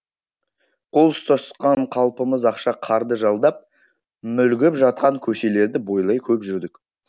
қол ұстасқан қалпымыз ақша қарды жалдап мүлгіп жатқан көшелерді бойлай көп жүрдік